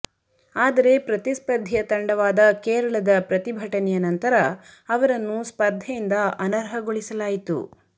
ಆದರೆ ಪ್ರತಿಸ್ಪರ್ಧಿಯ ತಂಡವಾದ ಕೇರಳದ ಪ್ರತಿಭಟನೆಯ ನಂತರ ಅವರನ್ನು ಸ್ಪರ್ಧೆಯಿಂದ ಅನರ್ಹಗೊಳಿಸಲಾಯಿತು